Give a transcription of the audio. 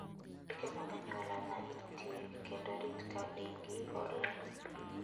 Luw chike mag anyuola ma intie, kendo rit ka in gi horuok.